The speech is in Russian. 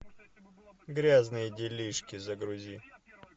грязные делишки загрузи